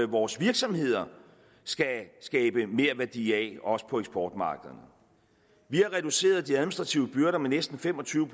vores virksomheder skal skabe merværdi af også på eksportmarkederne vi har reduceret de administrative byrder med næsten fem og tyve